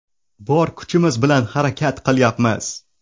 Bor kuchimiz bilan harakat qilyapmiz.